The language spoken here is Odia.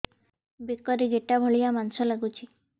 ବେକରେ ଗେଟା ଭଳିଆ ମାଂସ ଲାଗୁଚି